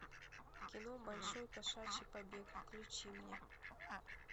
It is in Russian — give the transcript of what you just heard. кино большой кошачий побег включи мне